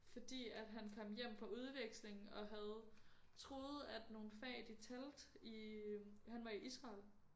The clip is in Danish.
Fordi at han kom hjem fra udveksling og havde troede at nogle fag de talte i øh han var i Israel